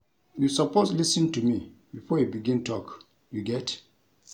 You suppose lis ten to me before you begin tok, you get?